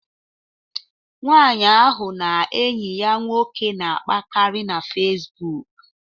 Nwaanyị ahụ na enyi ya nwoke na-akpakarị na Fesbụụk